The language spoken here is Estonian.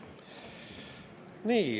Nii.